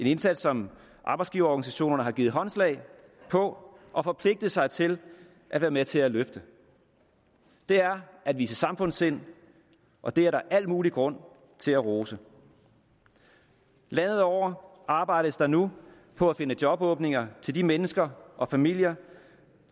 indsats som arbejdsgiverorganisationerne har givet håndslag på og forpligtet sig til at være med til at løfte det er at vise samfundssind og det er der al mulig grund til at rose landet over arbejdes der nu på at finde jobåbninger til de mennesker og familier